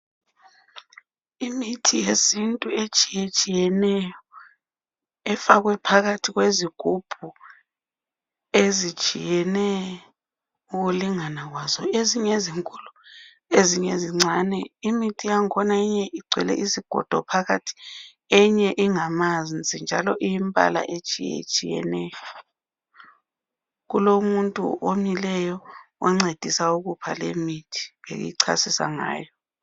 Imithi yesintu etshiyetshiyeneyo efakwe phakathi kwezigubhu ezitshiyene ukulingana kwazo ezinye ezinkulu ezinye zincane . Imithi yangkhona enye igcwele izigodo phakathi enye ingamanzi njalo iyimbala etshiyetshiyeneyo. Kulomuntu omileyo oncedisa ukupha lemithi eyichasisa ngayo.